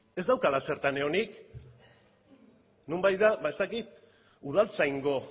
ez daukala zertan egonik nonbait da ba ez dakit udaltzaingo